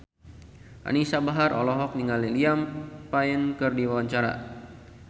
Anisa Bahar olohok ningali Liam Payne keur diwawancara